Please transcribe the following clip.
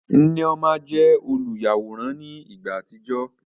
Nneoma jẹ oluyaworan ni ìgbà àtijọ